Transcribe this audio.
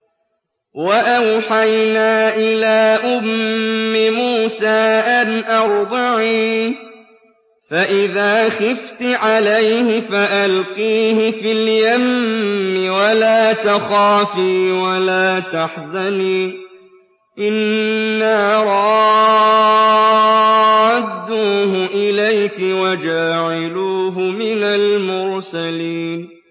وَأَوْحَيْنَا إِلَىٰ أُمِّ مُوسَىٰ أَنْ أَرْضِعِيهِ ۖ فَإِذَا خِفْتِ عَلَيْهِ فَأَلْقِيهِ فِي الْيَمِّ وَلَا تَخَافِي وَلَا تَحْزَنِي ۖ إِنَّا رَادُّوهُ إِلَيْكِ وَجَاعِلُوهُ مِنَ الْمُرْسَلِينَ